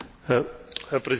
Herr Präsident!